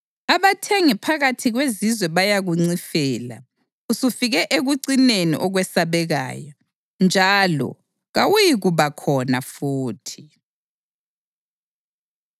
Abathengi phakathi kwezizwe bayakuncifela; usufike ekucineni okwesabekayo, njalo kawuyikuba khona futhi.’ ”